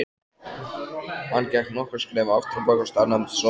Hann gekk nokkur skref afturábak og staðnæmdist svo.